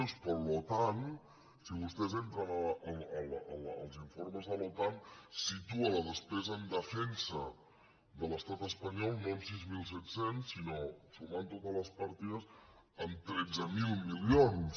doncs l’otan si vostès entren als informes de l’otan situa la despesa en defensa de l’estat espanyol no en sis mil set cents sinó sumant totes les partides en tretze mil milions